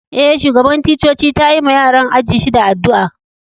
Eh, shugaban ticcoci ta yi ma yaran ajin shida addu'a.